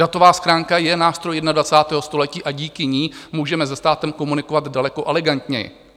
Datová schránka je nástroj 21. století a díky ní můžeme se státem komunikovat daleko elegantněji.